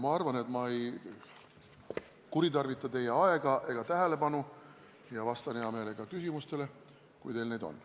Ma arvan, et ma ei kuritarvita teie aega ega teie tähelepanu ja vastan hea meelega küsimustele, kui teil neid on.